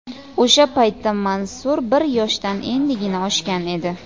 O‘sha paytda Mansur bir yoshdan endigina oshgan edi.